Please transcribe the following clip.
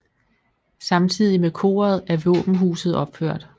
Samtidig med koret er våbenhuset opført